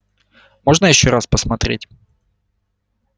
можно ещё раз посмотреть